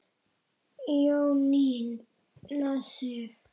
Jónína Sif.